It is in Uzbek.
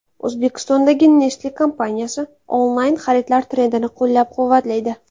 O‘zbekistondagi Nestle kompaniyasi onlayn xaridlar trendini qo‘llab-quvvatlaydi.